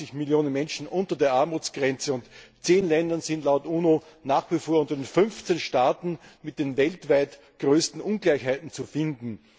180 Millionen Menschen unter der Armutsgrenze, und 10 Länder sind laut UNO nach wie vor unter den 15 Staaten mit den weltweit größten Ungleichheiten zu finden.